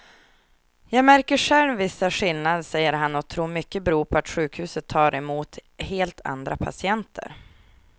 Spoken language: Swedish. Jag märker själv vissa skillnader, säger han och tror att mycket beror på att sjukhuset tar emot helt andra patienter.